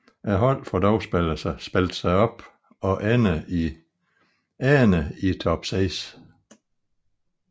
Holdet får dog spillet sig op og ender i top 6